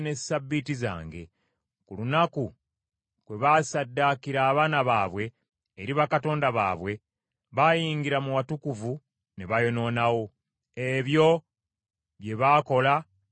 Ku lunaku kwe baassaddaakira abaana baabwe eri bakatonda baabwe, baayingira mu watukuvu ne bayonoonawo. Ebyo bye baakola mu nnyumba yange.